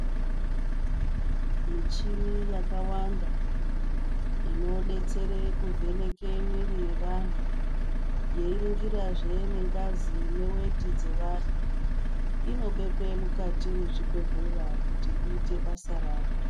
Mishini yakawanda inodetsere kuvheneke mwiri yevanhu yeiringirazve nengazi neweti dzevanhu inobekwe mukati mwezvibhedhlera kuti iite basa rayo.